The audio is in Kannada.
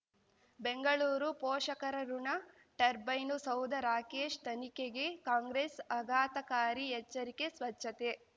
ಬೆಂಗಳೂರು ಪೋಷಕರಋಣ ಟರ್ಬೈನು ಸೌಧ ರಾಕೇಶ್ ತನಿಖೆಗೆ ಕಾಂಗ್ರೆಸ್ ಆಘಾತಕಾರಿ ಎಚ್ಚರಿಕೆ ಸ್ವಚ್ಛತೆ